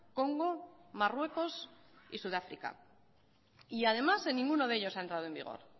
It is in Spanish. congo marruecos y sudáfrica y además en ninguno de ellos ha entrado en vigor